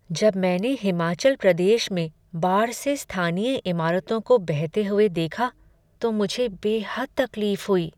जब मैंने हिमाचल प्रदेश में बाढ़ से स्थानीय इमारतों को बहते हुए देखा तो मुझे बेहद तकलीफ हुई।